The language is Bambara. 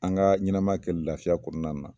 An ka ɲɛnama kɛ lafiya kɔnɔnanan